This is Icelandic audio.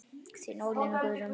Þín Ólína Guðrún.